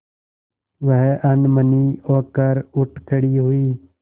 वह अनमनी होकर उठ खड़ी हुई